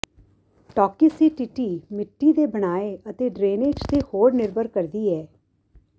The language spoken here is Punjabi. ਟੌਕਿਸੀਟੀਟੀ ਮਿੱਟੀ ਦੇ ਬਣਾਏ ਅਤੇ ਡਰੇਨੇਜ ਤੇ ਹੋਰ ਨਿਰਭਰ ਕਰਦੀ ਹੈ